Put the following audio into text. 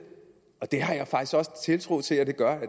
og det har jeg faktisk også tiltro til at det gør